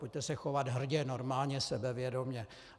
Pojďte se chovat hrdě, normálně sebevědomě.